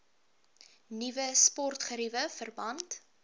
nuwe sportgeriewe verband